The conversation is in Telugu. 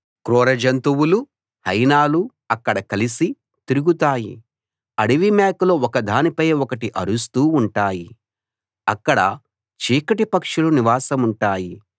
క్రూర జంతువులు హైనాలు అక్కడ కలిసి తిరుగుతాయి అడవిమేకలు ఒకదానిపై ఒకటి అరుస్తూ ఉంటాయి అక్కడ చీకటి పక్షులు నివాసముంటాయి